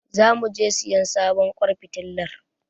Zamu je siyan sabon ƙwan fitilar.